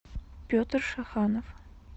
петр шаханов